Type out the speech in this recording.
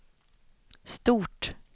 stort